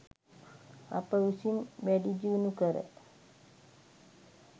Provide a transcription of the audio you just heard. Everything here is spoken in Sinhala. අප විසින් වැඩිදියුණු කර